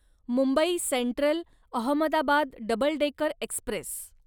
Mumbai central Ahmedabad double decker Express